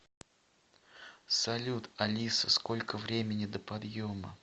салют алиса сколько времени до подъема